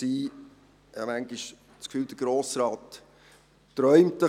Ich habe manchmal das Gefühl, der Grosse Rat träume ein wenig.